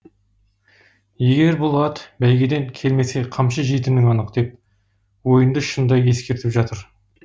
егер бұл ат бәйгеден келмесе қамшы жейтінің анық деп ойынды шынды ескертіп жатыр